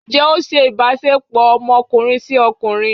njẹ o ṣe ìbáṣepọ ọmọkunrin si okunrín?